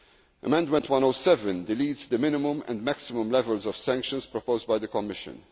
disproportionate. Amendment 107 deletes the minimum and maximum levels of sanctions proposed